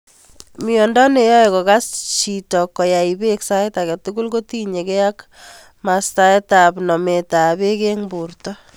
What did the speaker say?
Miondo no ae kokas chito koai pek sait akei tugul ko tinye gei ak mastsap nomet ap peek ing porto.